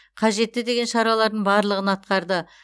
қажетті деген шаралардың барлығын атқарды